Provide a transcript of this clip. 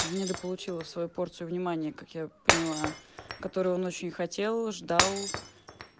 недополучила свою порцию внимание как я поняла которую он очень хотел ждал